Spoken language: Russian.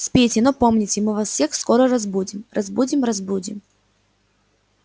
спите но помните мы вас всех скоро разбудим разбудим разбудим